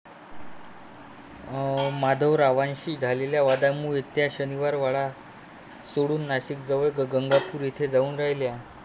माधवरावांशी झालेल्या वादामुळे त्या शनिवारवाडा सोडून नाशिकजवळ गंगापूर येथे जाऊन राहिल्या.